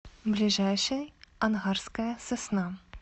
ближайший ангарская сосна